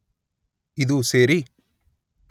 ಇದು ಸೇರಿ